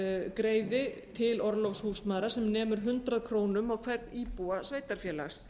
greiði til orlofs húsmæðra sem nemur hundrað krónur á hvern íbúa sveitarfélags